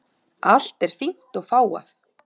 Allt er fínt og fágað.